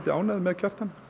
ánægð með Kjartan